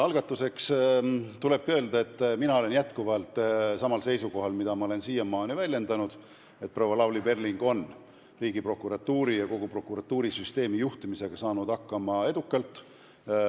Algatuseks tulebki öelda, et mina olen jätkuvalt samal seisukohal, mida ma olen siiamaani väljendanud: proua Lavly Perling on Riigiprokuratuuri ja kogu prokuratuurisüsteemi juhtimisega edukalt hakkama saanud.